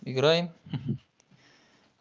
играем хи-хи